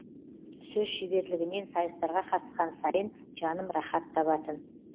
сөз шеберлігінен сайыстарға қатысқан сайын жаным рахат табатын